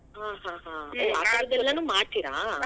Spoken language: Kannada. ಹಾ ಹಾ ಹಾ. ಮಾಡ್ತೀರಾ?